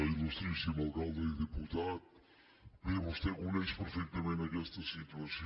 ilalcalde i diputat bé vostè coneix perfectament aquesta situació